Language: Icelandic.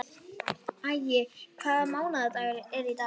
Ævi, hvaða mánaðardagur er í dag?